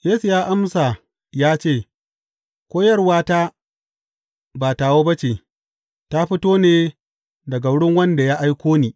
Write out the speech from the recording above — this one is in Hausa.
Yesu ya amsa ya ce, Koyarwata ba tawa ba ce, ta fito ne daga wurin wanda ya aiko ni.